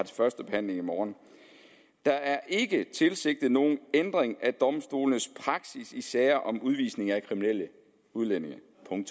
første behandling i morgen der er ikke tilsigtet nogen ændring af domstolenes praksis i sager om udvisning af kriminelle udlændinge